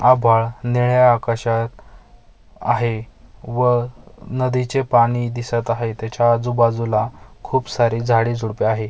आभाळ निळ्या आकाशात आहे व नदीचे पाणी दिसत आहे त्याच्या आजुबाजूला खूप सारी झाडेझुडपे आहे.